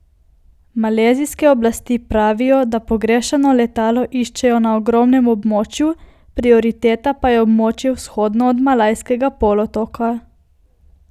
Malezijske oblasti pravijo, da pogrešano letalo iščejo na ogromnem območju, prioriteta pa je območje vzhodno od Malajskega polotoka.